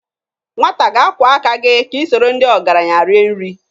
Nwata ga-akwọ aka gị ka i soro ndị ọgaranya rie nri.